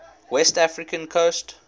west african coast